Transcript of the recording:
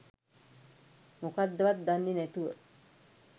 මොකද්දවත් දන්නේ නැතුව